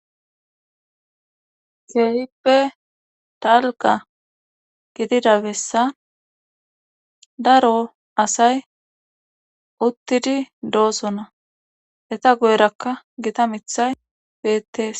keehippe dalga gidida bessa daro asay uttidi doosona eta goyrakka gita mithay bettees..